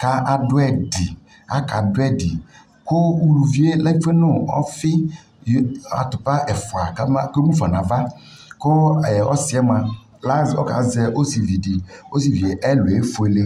kado ɛdi aka do ɛdi ko uluvie lɛfue no ɔfi atapa ɛfua ka ma ke mufa nava ko ɛɛ ɔsiɛ moa la zɛ, ɔka zɛ ɔsevi de Ɔsevie ɛluɛ fuele